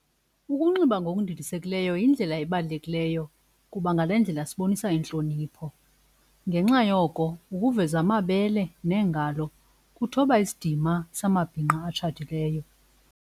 Ukunxiba ngokundilisekileyo yindlela ebalulekileyo kuba ngale ndlela sibonisa intlonipho. Ngenxa yoko ukuveza amabele neengalo kuthoba isidima samabhinqa atshatileyo.